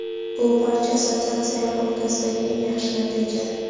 Bu barcha assotsiatsiyalar o‘rtasidagi eng yaxshi natija.